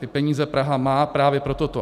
Ty peníze Praha má právě pro toto.